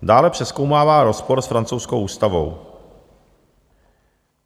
Dále přezkoumává rozpor s francouzskou ústavou.